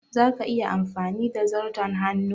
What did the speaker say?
Za ka iya amfani da zarton hannu?